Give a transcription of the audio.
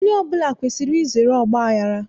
Onye ọbụla kwesiri izere ọgbaghara